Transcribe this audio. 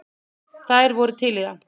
Þær voru til í það.